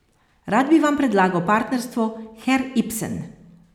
Rad bi vam predlagal partnerstvo, herr Ibsen.